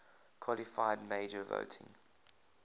qualified majority voting